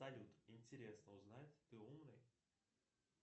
салют интересно узнать ты умный